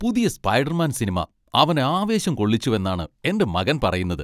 പുതിയ Spiderman cinema അവനെ ആവേശം കൊള്ളിച്ചുവെന്നാണ് എന്റെ മകൻ പറയുന്നത്.